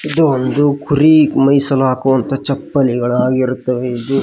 ಇದು ಒಂದು ಕುರಿ ಮೆಸಲು ಹಾಕುವಂತ ಚಪ್ಪಲಿಗಳಗಿರುತ್ತಾವೆ.